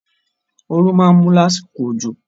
Oru máa mu lásìkò òjò.